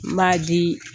N b'a di